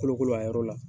Kolokolo a yɔrɔ la